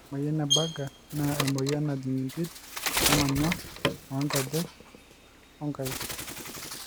ore emoyian e Buerger naa emoyian najing impit o ng'onyo oo nkejek o nkaik